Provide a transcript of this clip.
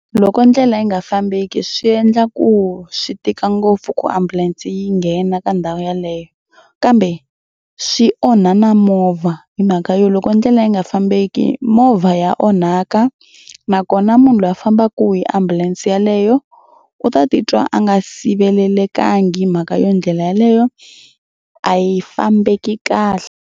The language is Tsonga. Loko ndlela yi nga fambeki swi endla ku swi tika ngopfu ku ambulense yi nghena ka ndhawu yaleyo kambe swi onha na movha hi mhaka yo loko ndlela yi nga fambeki movha ya onhaka nakona munhu loyi a fambaka hi ambulense yeleyo u ta titwa a nga sivelelekangi mhaka yo ndlela yaleyo a yi fambeki kahle.